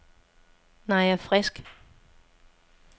Naja Frisk